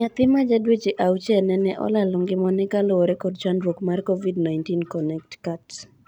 Nyathi ma jadweche auchiel nene olalo ngima ne kaluore kod chandruok mar Covid-19 Connectcut.